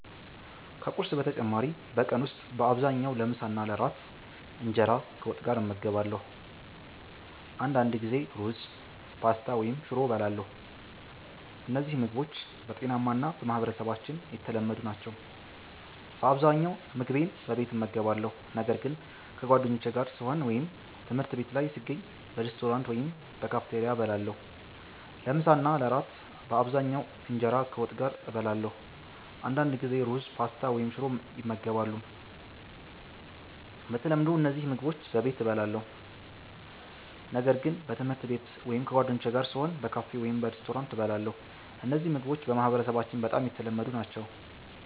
ከቁርስ በተጨማሪ በቀን ውስጥ በአብዛኛው ለምሳና ለእራት እንጀራ ከወጥ ጋር እመገባለሁ። አንዳንድ ጊዜ ሩዝ፣ ፓስታ ወይም ሽሮ እበላለሁ። እነዚህ ምግቦች ጤናማ እና በማህበረሰባችን የተለመዱ ናቸው። በአብዛኛው ምግቤን በቤት እመገባለሁ፣ ነገር ግን ከጓደኞቼ ጋር ስሆን ወይም ትምህርት ቤት ላይ ስገኝ በሬስቶራንት ወይም በካፌቴሪያ እበላለሁ። ለምሳ እና ለእራት በአብዛኛው እንጀራ ከወጥ ጋር እበላለሁ። አንዳንድ ጊዜ ሩዝ፣ ፓስታ ወይም ሽሮ ይመገባሉ። በተለምዶ እነዚህ ምግቦች በቤት እበላለሁ፣ ነገር ግን በትምህርት ቤት ወይም ከጓደኞቼ ጋር ስሆን በካፌ ወይም በሬስቶራንት እበላለሁ። እነዚህ ምግቦች በማህበረሰባችን በጣም የተለመዱ ናቸው።